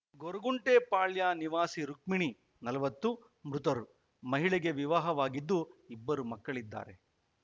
ಗೊರಗುಂಟೆಪಾಳ್ಯ ನಿವಾಸಿ ರುಕ್ಷ್ಮಿಣಿ ನಲವತ್ತು ಮೃತರು ಮಹಿಳೆಗೆ ವಿವಾಹವಾಗಿದ್ದು ಇಬ್ಬರು ಮಕ್ಕಳಿದ್ದಾರೆ